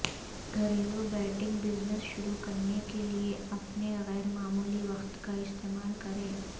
گھریلو betting business شروع کرنے کے لئے اپنے غیر معمولی وقت کا استعمال کریں